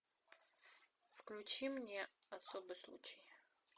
включи мне особый случай